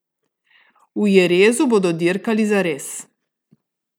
V Jerezu bodo dirkali zares.